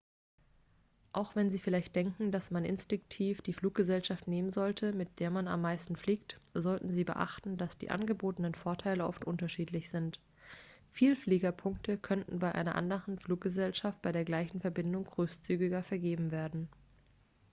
auch wenn sie vielleicht denken dass man instinktiv die fluggesellschaft nehmen sollte mit der man am meisten fliegt sollten sie beachten dass die angebotenen vorteile oft unterschiedlich sind vielfliegerpunkte könnten bei einer anderen fluggesellschaft bei der gleichen verbindung großzügiger vergeben werden